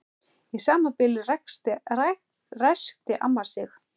Í sama bili ræskti amma sig.